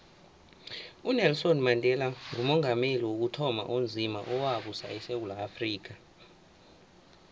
unelson mandela ngumongameli wokuthoma onzima owabusako esewula afrika